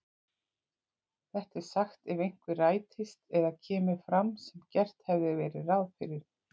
Þetta er sagt ef eitthvað rætist eða kemur fram sem gert hafði verið ráð fyrir.